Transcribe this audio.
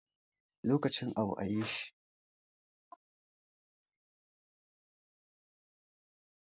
Lokacin abu ayi shi.